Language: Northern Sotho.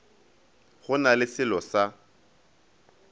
go na le selo sa